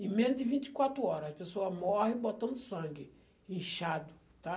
Em menos de vinte e quatro hora, a pessoa morrem botando sangue, inchado, tá?